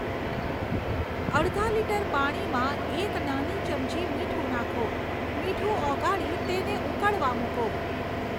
અડધા લીટર પાણીમાં એક નાની ચમચી મીઠું નાખો મીઠું ઓગાળી તેમને ઉકળવા મૂકો.